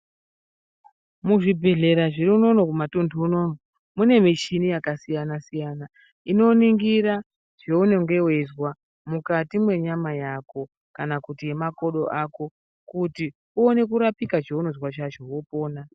Muzvibhedhleya zviri unono kumatundu unono mune michini yakasiyana siyana inoningira zvaunenge weizwa mukati mwenyama yako kana kuti mwemakodo ako kuti uone kurapika chaunozwa chacho wopona.